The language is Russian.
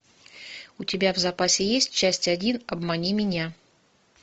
у тебя в запасе есть часть один обмани меня